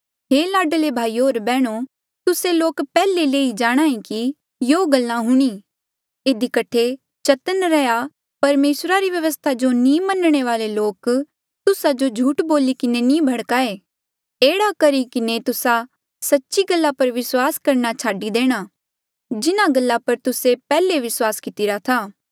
हे लाडले भाईयो होर बैहणो तुस्से लोक पैहले ले ई जाणहां ऐें कि युयां गल्ला हूणीं इधी कठे चतन्न रैहया परमेसरा री व्यवस्था जो नी मनणे वाले लोक तुस्सा जो झूठ बोली किन्हें नी भड़काए एह्ड़ा करी किन्हें तुस्सा सच्ची गल्ला पर विस्वास करणा छाडी देणा जिन्हा गल्ला पर तुस्से पैहले विस्वास कितिरा था